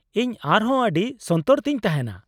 ᱤᱧ ᱟᱨ ᱦᱚᱸ ᱟᱹᱰᱤ ᱥᱚᱱᱛᱚᱨ ᱛᱤ ᱧ ᱛᱟᱦᱮᱱᱟ ᱾